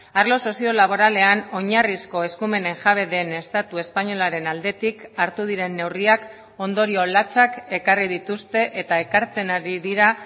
arlo sozio laboralean oinarrizko eskumenen jabe den estatu espainolaren aldetik hartu diren neurriak ondorio latzak ekarri dituzte eta ekartzen ari dira